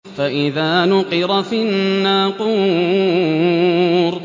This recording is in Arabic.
فَإِذَا نُقِرَ فِي النَّاقُورِ